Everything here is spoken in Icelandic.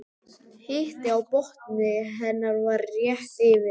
Hiti á botni hennar var rétt yfir